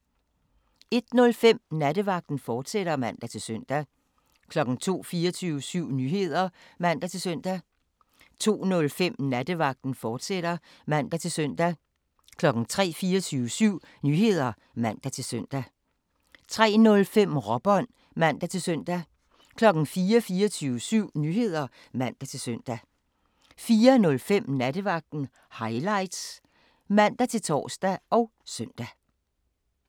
01:05: Nattevagten, fortsat (man-søn) 02:00: 24syv Nyheder (man-søn) 02:05: Nattevagten, fortsat (man-søn) 03:00: 24syv Nyheder (man-søn) 03:05: Råbånd (man-søn) 04:00: 24syv Nyheder (man-søn) 04:05: Nattevagten Highlights (man-tor og søn)